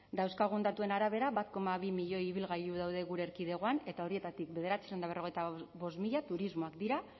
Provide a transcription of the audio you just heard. dauzkagun datuen arabera bat koma bi milioi ibilgailu daude gure erkidegoan eta horietatik bederatziehun eta berrogeita bost mila turismoak dira